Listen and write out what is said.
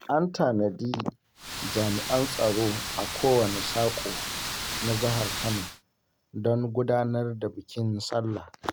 An tanadi jami'an tsaro a kowane saƙo na Jihar Kano, don gudanar da bikin sallah.